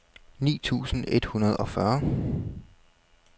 ni tusind et hundrede og fyrre